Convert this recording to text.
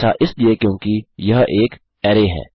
ऐसा इसलिए क्योंकि यह एक अरै है